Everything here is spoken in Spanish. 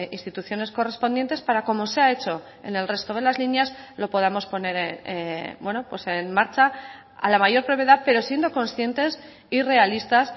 instituciones correspondientes para como se ha hecho en el resto de las líneas lo podamos poner en marcha a la mayor brevedad pero siendo conscientes y realistas